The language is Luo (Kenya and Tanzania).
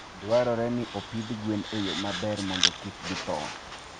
dwarore ni opidh gwen e yo maber mondo kik githo.